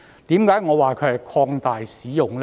為何我說這是擴大使用呢？